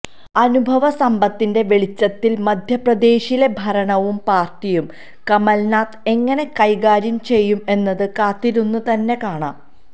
അനുഭവ സമ്പത്തിന്റെ വെളിച്ചത്തിൽ മധ്യപ്രദേശിലെ ഭരണവും പാർട്ടിയും കമൽനാഥ് എങ്ങനെ കൈകാര്യം ചെയ്യും എന്നത് കാത്തിരുന്ന് തന്നെ കാണാം